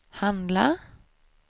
handla